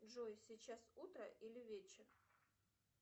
джой сейчас утро или вечер